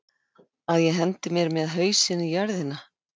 Að ég hendi mér með hausinn í jörðina?